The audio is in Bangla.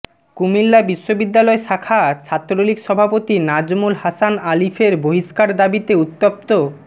কুমিল্লা বিশ্ববিদ্যালয় শাখা ছাত্রলীগ সভাপতি নাজমুল হাসান আলিফের বহিষ্কার দাবিতে উত্তপ্ত